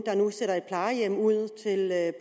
der nu sætter et plejehjem i